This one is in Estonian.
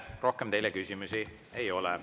Rohkem teile küsimusi ei ole.